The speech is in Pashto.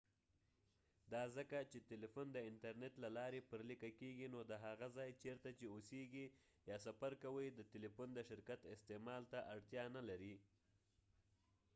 دا ځکه چې تلیفون د انترنیت له لارې پر لیکه کیږي نو د هغه ځای چیرته چې اوسیږي یا سفر کوې د ټلیفون د شرکت استعمال ته اړتیا نه لرې